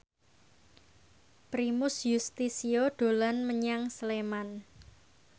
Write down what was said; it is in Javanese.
Primus Yustisio dolan menyang Sleman